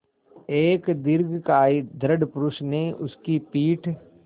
एक दीर्घकाय दृढ़ पुरूष ने उसकी पीठ